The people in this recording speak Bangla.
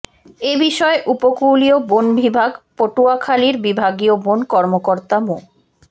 এ বিষয়ে উপকূলীয় বন বিভাগ পটুয়াখালীর বিভাগীয় বন কর্মকর্তা মো